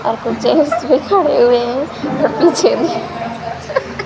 और खड़े हुए है और मुझे भी --